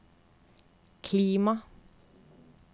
klima